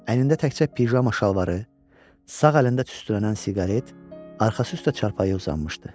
Əynində təkcə pijama şalvarı, sağ əlində tüstülənən siqaret, arxası üstə çarpayıya uzanmışdı.